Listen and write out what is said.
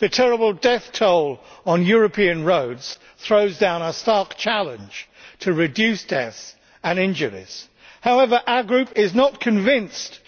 The terrible death toll on European roads throws down a stark challenge to reduce deaths and injuries. However, our Group is not convinced